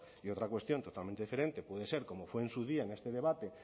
y otra cuestión totalmente diferente puede ser como fue en su día en este debate